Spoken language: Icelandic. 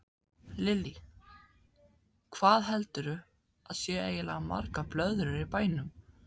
Lillý: Hvað heldurðu að séu eiginlega margar blöðrur í bænum?